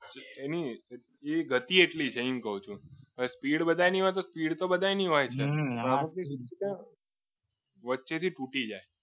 એની ગતિ એટલી છે એમ કહું છું સ્પીડ બધાની હોય સ્પીડ તો બધાની હોય છે વચ્ચેથી તૂટી જાય